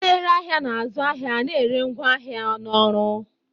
Onye na-ere ahịa na-azụ ahịa na ere ngwaahịa na ọrụ